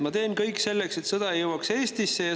"Ma teen kõik selleks, et sõda ei jõuaks Eestisse.